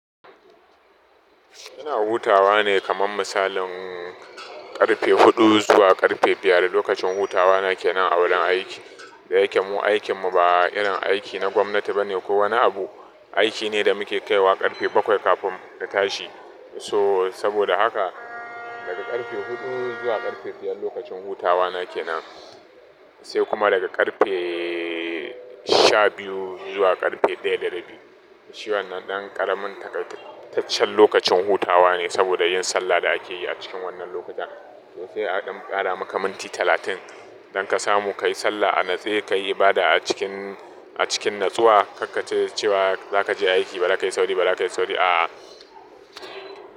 Ina hutawa ne kaman misalin ƙarfe huɗu zuwa ƙarfe biyar da lokacin hutawa na kenan a wurin aiki. Da yake mu aikin mu ba irin aiki na gwamnati bane ko wani abu, aiki ne da muke kaiwa ƙarfe bakwai kafin ka tashi. So saboda haka daga ƙarfe huɗu zuwa ƙarfe biyar lokacin hutawa na kenan, sai kuma daga ƙarfe sha biyu zuwa ƙarfe ɗaya da rabi. Shi wannan ɗan ƙaramin takaitaccen lokacin hutawa ne saboda yin sallah da ake yi a cikin wannan lokacin. To sai a ɗan ƙara maka minti talatin don ka samu kayi sallah a natsai, kayi bada a cikin, a cikin natsuwa, karka ce cewa zaka je aiki ba za ka yi sauri, ba za ka yi sauri a a.